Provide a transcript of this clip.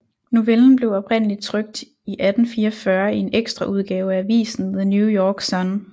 Novellen blev oprindeligt trykt i 1844 i en ekstraudgave af avisen The New York Sun